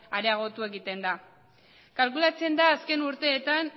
areago egiten da kalkulatzen da azken urteetan